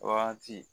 Wagati